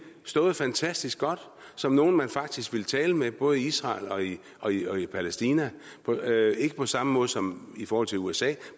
stået fantastisk godt som nogen man faktisk ville tale med både i israel og i og i palæstina ikke på samme måde som i forhold til usa